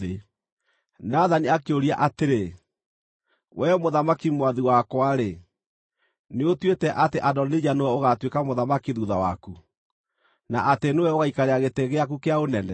Nathani akĩũria atĩrĩ, “Wee mũthamaki mwathi wakwa-rĩ, nĩũtuĩte atĩ Adonija nĩwe ũgaatuĩka mũthamaki thuutha waku, na atĩ nĩwe ũgaikarĩra gĩtĩ gĩaku kĩa ũnene?